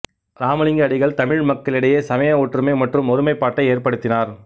இராமலங்க அடிகள் தமிழ் மக்களிடையே சமய ஒற்றுமை மற்றும் ஒருமைப்பாட்டை ஏற்படுத்தினார்